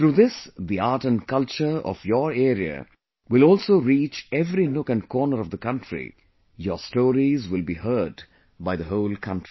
Through this the art and culture of your area will also reach every nook and corner of the country, your stories will be heard by the whole country